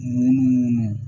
Munumunu